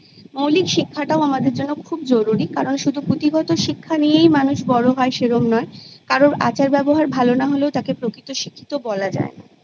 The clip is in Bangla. মৌলিক শিক্ষাটাও আমাদের জন্য খুব জরুরি কারণ শুধু পুঁথিগত শিক্ষা নিয়েই মানুষ বড়ো হয় সেরম নয় কারোর আচার ব্যবহার ভালো না হলে তাকে প্রকৃত শিক্ষিত বলা যায় না